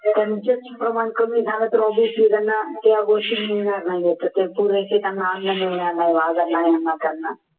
त्यांचाच प्रमाण कमी झालं तर obviously त्यांना त्या गोष्टी मिळणार नाहीत त्यांना अन्न मिळणार नाही त्यांना